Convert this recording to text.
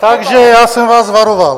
Takže já jsem vás varoval...